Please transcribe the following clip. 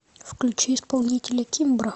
включи исполнителя кимбра